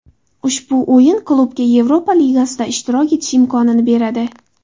Ushbu o‘rin klubga Yevropa Ligasida ishtirok etish imkonini beradi.